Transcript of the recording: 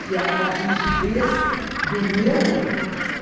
Que a rigidez do meu